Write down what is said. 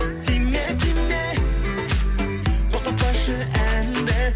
тиме тиме тоқтатпашы әнді